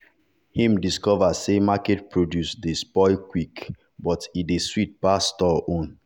him discover say market produce dey spoil quick dey spoil quick quick but e dey sweet pass store own.